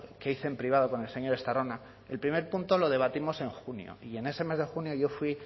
que hice en privado con el señor estarrona el primer punto lo debatimos en junio y en ese mes de junio yo fui